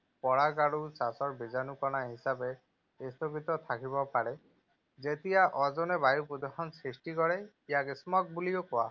পৰাগ আৰু ছাঁচৰ বীজাণু কণা হিচাপে স্থগিত থাকিব পাৰে। যেতিয়া অ’জনে বায়ু প্ৰদূষণ সৃষ্টি কৰে, ইয়াক Smog বুলিও কোৱা হয়।